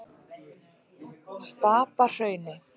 Stapahrauni